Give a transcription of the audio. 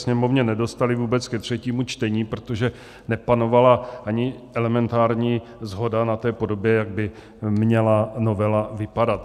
Sněmovně nedostali vůbec ke třetímu čtení, protože nepanovala ani elementární shoda na té podobě, jak by měla novela vypadat.